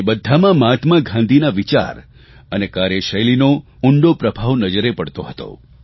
તે બધામાં મહાત્મા ગાંધીના વિચાર અને કાર્યશૈલીનો ઉંડો પ્રભાવ નજરે પડતો હતો